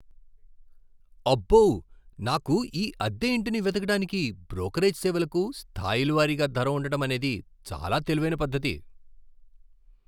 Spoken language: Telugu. అబ్బో, నాకు ఈ అద్దె ఇంటిని వెతకడానికి బ్రోకరేజ్ సేవలకు స్థాయిల వారీగా ధర ఉండటమనేది చాలా తెలివైన పద్ధతి.